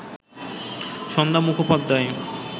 Sandhya Mukhopadhyay